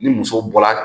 Ni muso bɔla